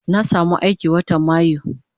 Na samu aiki watan mayu